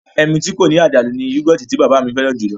Ẹmu tí kò ní àdàlú ni yọ́gọ̀tì tí bàbá mi fẹ́ràn jùlọ